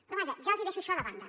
però vaja ja els deixo això de banda